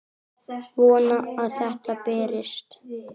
Vona að þetta berist.